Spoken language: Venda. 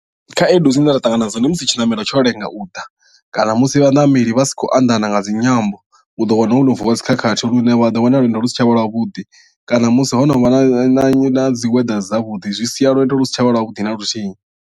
Khaedu dzine nda ṱangana nadzo ndi musi tshiṋamelo tsho lenga u ḓa kana musi vhaṋameli vha sa khou anḓana nga dzinyambo u do wana ho no vuwa dzikhakhathi lune vha ḓo wana lwendo lu si tshavha lwavhuḓi kana musi ho no vha na na na dzi weather dzi si dzavhuḓi zwi sia lwendo lu si tshavha lwa vhuḓi na luthihi.